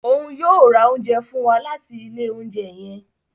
Òún yóò o rà oúnjẹ fun wà latí ilé oúnjẹ yẹn